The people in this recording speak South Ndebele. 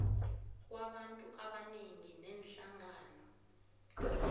kwabantu abanengi neenhlangano